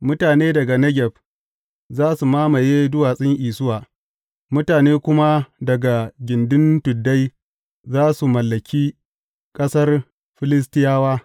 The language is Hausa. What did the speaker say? Mutane daga Negeb za su mamaye duwatsun Isuwa, mutane kuma daga gindin tuddai za su mallaki ƙasar Filistiyawa.